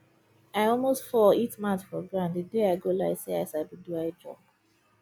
i almost fall hit mouth for ground the day i go lie say i sabi do high jump